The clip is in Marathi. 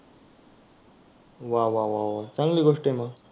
वाह वाह वाह चांगली गोष्ट आहे मग.